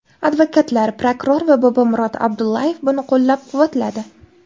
Advokatlar, prokuror va Bobomurod Abdullayev buni qo‘llab-quvvatladi.